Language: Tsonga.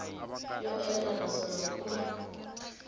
yo enela naswona ku na